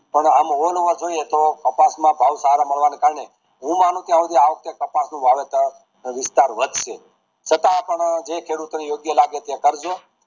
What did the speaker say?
પણ આમ જોઈએ તો કપાસ ના ભાવ સારા મળવા ના કારણે હું માનુંછું થાય શુદ્ધિ કપાસ નું વાવેતર નો વિસ્તાર વધશે છતાં પણ જે ખેડૂત ને યોગ્ય લાગે એ કરજો